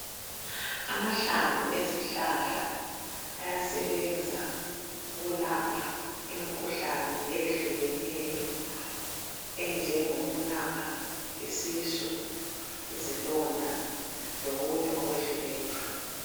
Amahlamvu ezihlahla ayasebenza ukulapha imikhuhlane eyehlukeneyo enjengo kulapha isisu, izilonda lokunye okwehlukeneyo.